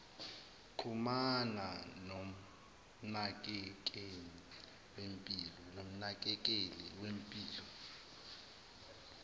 xhumana nomnakekeli wempilo